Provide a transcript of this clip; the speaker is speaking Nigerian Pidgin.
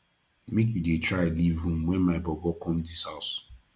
make you dey try leave room wen my bobo come dis house